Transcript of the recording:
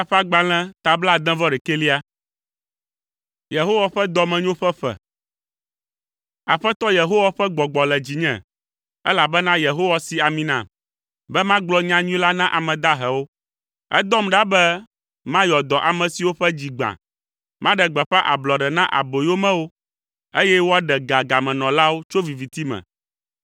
Aƒetɔ Yehowa ƒe Gbɔgbɔ le dzinye, elabena Yehowa si ami nam, be magblɔ nyanyui la na ame dahewo. Edɔm ɖa be mayɔ dɔ ame siwo ƒe dzi gbã. Maɖe gbeƒã ablɔɖe na aboyomewo, eye woaɖe ga gamenɔlawo tso viviti me;